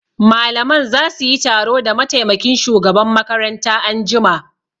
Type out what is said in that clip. Malaman za su yi taro da mataimakin shugaban makaranta anjima